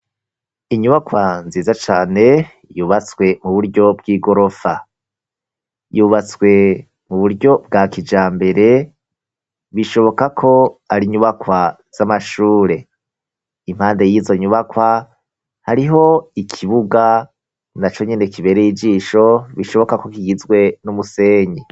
Inyubakwa nziza cane, yubatswe mu buryo bw'igorofa. Yubatswe mu buryo bwa kijambere, bishoboka ko ari inyubakwa z'amashure. Impande y'izo nyubakwa, hariho ikibuga na co nyene kibereye ijisho, bishoboka ko kigizwe n'umusenyi.